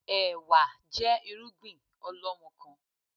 Ẹ̀wá jẹ́ irúgbìn ọlọmọkan